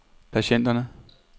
patienterne